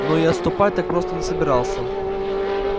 но и отступать так просто не собирался